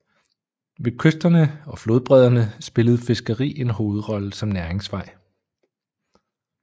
Ved kysterne og flodbredderne spillede fiskeri en hovedrolle som næringsvej